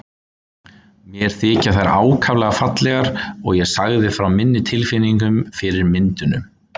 Mér þykja þær ákaflega fallegar og ég sagði frá minni tilfinningu fyrir myndunum.